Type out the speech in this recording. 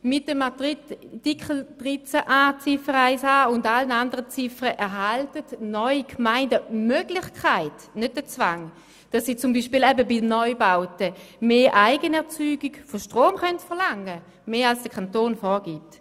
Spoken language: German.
Mit Artikel 13a Absatz 1 und allen anderen Artikeln erhalten die Gemeinden neu die Möglichkeit und nicht den Zwang, zum Beispiel bei Neubauten mehr Eigenerzeugung von Strom zu verlangen, und zwar mehr als der Kanton vorgibt.